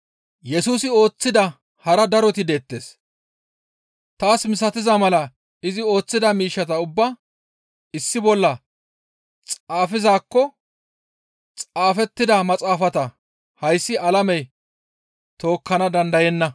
Yesusi ooththida hara daroti deettes; taas misatiza mala izi ooththida miishshata ubbaa issi bolla xaafizaakko xaafettida maxaafata hayssi alamey tookkana dandayenna.